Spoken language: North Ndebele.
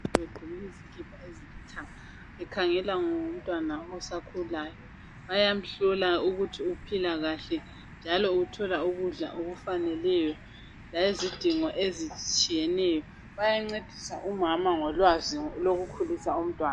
Bagqoke izikipa ezilithanga. Bekhangela ngomntwana osakhulayo. Bayamhlola ukuthi uphila kahle, njalo uthola ukudla okufaneleyo. Layizidingo ezitshiyeneyo. Bayancedisa umama ngolwazi lokukhulisa umntwana.